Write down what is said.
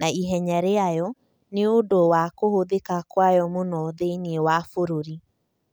na ihenya rĩayo, nĩ ũndũ wa kũhũthĩka kwayo mũno thĩinĩ wa bũrũri.